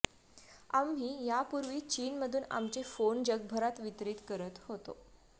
आम्ही यापूर्वी चीनमधून आमचे फोन जगभरात वितरीत करत होतो